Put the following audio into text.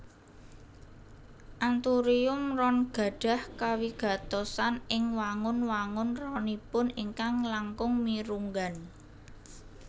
Anthurium ron gadhah kawigatosan ing wangun wangun ronipun ingkang langkung mirunggan